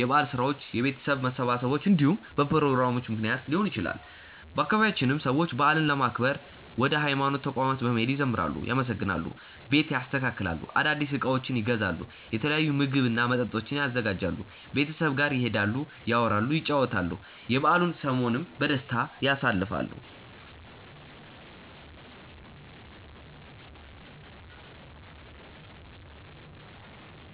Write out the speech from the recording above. የበዓል ስራዎች፣ የቤተሰብ መሰባሰቦች እንዲሁም በፕሮግራሞቹ ምክንያት ሊሆን ይችላል። በአባቢያችንም ሰዎች በዓልን ለማክበር ወደ ሀይማኖት ተቋማት በመሄድ ይዘምራሉ፣ ያመሰግናሉ፣ ቤት ያስተካክላሉ፣ አዳዲስ እቃዎችን ይገዛሉ፣ የተለያዩ ምግብ እና መጠጦችን ያዘጋጃሉ፣ ቤተሰብ ጋር ይሄዳሉ፣ ያወራሉ፣ ይጨዋወታሉ፣ የበዓሉን ሰሞንም በደስታ ያሳልፋሉ።